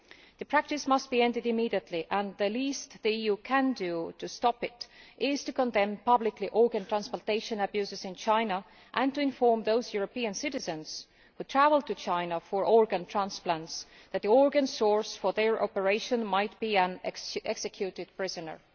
The practice must be ended immediately, and the least the EU can do to stop it is to condemn publicly organ transplantation abuses in China and to inform those European citizens who travel to China for organ transplants that the organ source for their operation might be an executed prisoner.